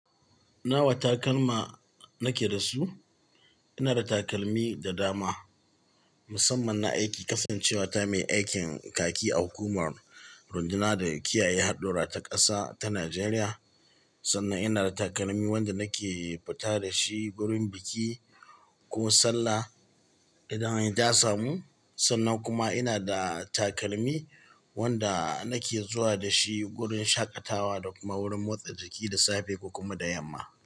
Nawa takalma nake da su? Ina da takalmi da dama, musamman na aiki kafin cewa ta mai aikin kaki a hukumar runduna da kiyaye hadura ta ƙasa ta Najeriya. Sannan ina da takalmi wanda nake fita da shi gurin biki ko sallah idan anyi da samu. Sannan kuma ina da takalmi wanda nake zuwa da shi gurin shaƙatawa da kuma wurin motsa jiki da safe ko kuma da yamma.